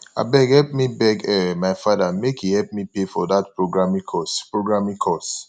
abeg help me beg um my father make he help me pay for dat programing course programing course